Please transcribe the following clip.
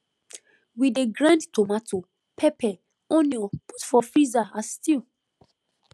we dey grind tomato pepper onion put for freezer as stew